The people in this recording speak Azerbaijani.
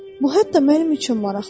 Bu hətta mənim üçün maraqlıdır.